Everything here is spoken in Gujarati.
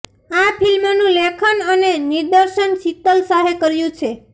આ ફિલ્મનું લેખન અને નિર્દેશન શિતલ શાહે કર્યું છે